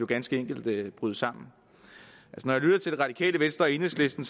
ganske enkelt bryde sammen når jeg lytter til radikale venstre og enhedslisten